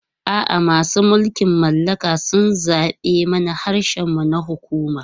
A'a, masu mulkin mallaka sun zaɓe mana harshen mu na hukuma.